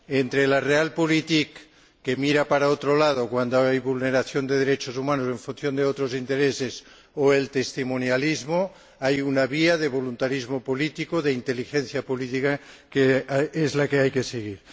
Entre la realpolitik que mira para otro lado cuando hay vulneración de derechos humanos, obedeciendo a otros intereses, o el testimonialismo, hay una vía de voluntarismo político, de inteligencia política, que es la que hay que seguir.